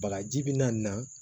Bagaji bi na na